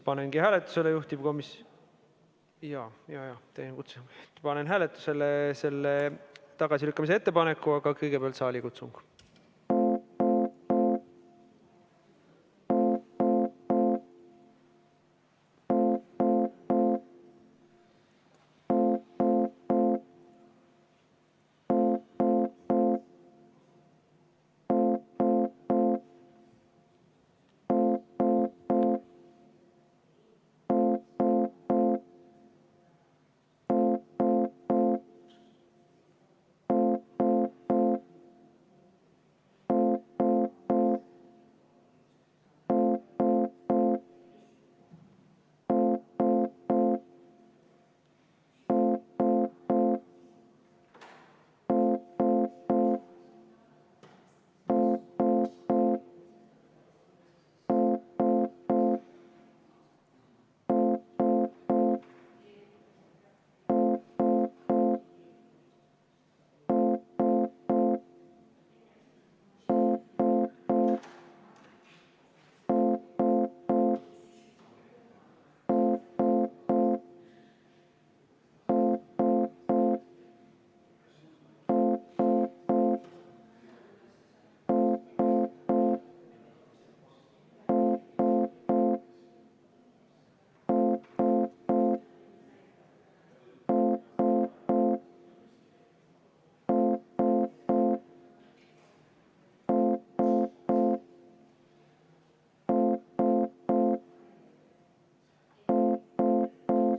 Panengi hääletusele juhtivkomisjoni tagasilükkamise ettepaneku, aga kõigepealt saalikutsung.